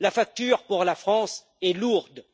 La facture, pour la France, est lourde.